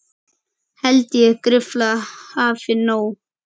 Held ég gruflað hafi nóg.